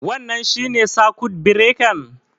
Wannan shinne sakut birekan?